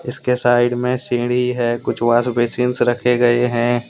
इसके साइड में सीढ़ी हैकुछ वाशबेसिंस रखे गए हैं।